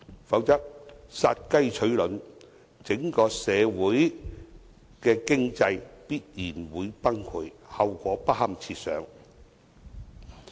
否則，殺雞取卵，整體社會的經濟必然會崩潰，後果不堪設想。